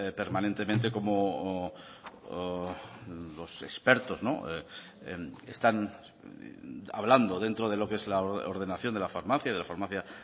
permanentemente como los expertos están hablando dentro de lo que es la ordenación de la farmacia de la farmacia